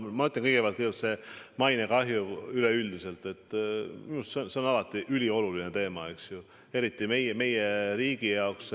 Ma ütlen kõigepealt, et mainekahju üleüldiselt on minu meelest alati ülioluline teema, eriti meie riigi jaoks.